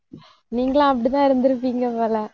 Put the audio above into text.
நீங்களும் அப்படித்தான் இருந்திருப்பீங்க போல